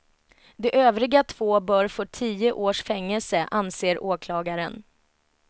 De övriga två bör få tio års fängelse, anser åklagaren.